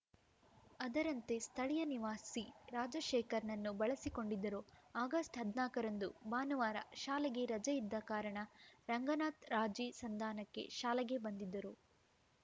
ಅದರಂತೆ ಸ್ಥಳೀಯ ನಿವಾಸಿ ರಾಜಶೇಖರ್‌ನನ್ನು ಬಳಸಿಕೊಂಡಿದ್ದರು ಆಗಸ್ಟ್ ಹದ್ನಾಕರಂದು ಭಾನುವಾರ ಶಾಲೆಗೆ ರಜೆ ಇದ್ದ ಕಾರಣ ರಂಗನಾಥ್‌ ರಾಜೀ ಸಂಧಾನಕ್ಕೆ ಶಾಲೆಗೆ ಬಂದಿದ್ದರು